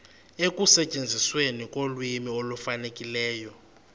ekusetyenzisweni kolwimi olufanelekileyo